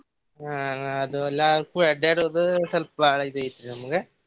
ಅಹ್ ಅದು ಎಲ್ಲಾ ಕೂಡಿ ಅಡ್ಯಾಡೋದು ಸ್ವಲ್ಪ ಬಾಳ್ ಇದ್ ಐತ್ರಿ ನಮ್ಗ.